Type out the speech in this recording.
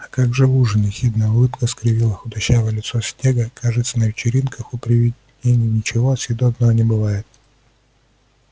а как же ужин ехидная улыбка скривила худощавое лицо снегга кажется на вечеринках у привидений ничего съедобного не бывает